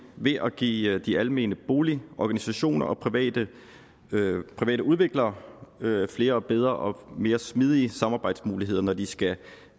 ved at give de almene boligorganisationer og private private udviklere flere bedre og mere smidige samarbejdsmuligheder når de skal